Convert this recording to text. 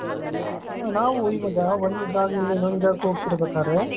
ನಾವು ಇವಾಗ ಒಂದು ಜಾಗದಿಂದ ಇನ್ನೊಂದು ಜಾಗಕ್ಕೆ ಹೋಗ್ತಿರಬೇಕಾದರೆ .